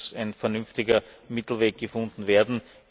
Hier muss ein vernünftiger Mittelweg gefunden werden.